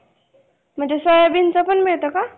म्हणजे सोयाबीनचा पण मिळतो का?